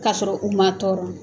Ka sɔrɔ u man tɔɔrɔ.